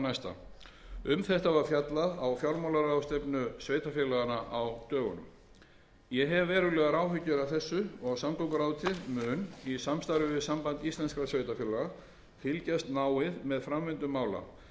næsta um þetta var fjallað á fjármálaráðstefnu sveitarfélaganna á dögunum ég hef verulegar áhyggjur af þessu og samgönguráðuneytið mun í samstarfi við samband íslenskra sveitarfélaga fylgjast náið með framvindu mála